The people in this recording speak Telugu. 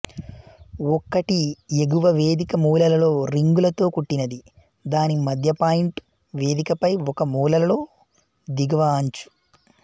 ఒక్కటి ఎగువ వేదిక మూలలో రింగులతో కుట్టినది దాని మధ్యపాయింట్ వేదికపై ఒక మూలలో దిగువ అంచు